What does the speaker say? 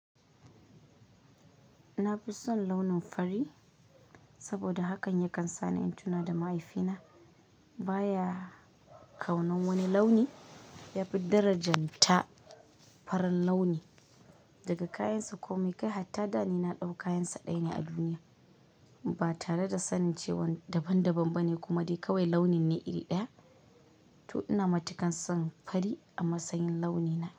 Na fi son launin fari saboda hakan yakan sa ni in tuna da mahaifina. Ba ya kaunan wani launi, ya fi darajanta farin launi daga kayansa komai kai hatta dani na ɗau kayansa ɗaya ne a duniya. Ba tare da sanin cewa daban daban ba ne kuma dai kawai launin ne iri ɗaya. To ina matuƙan son fari a matsayin launi na.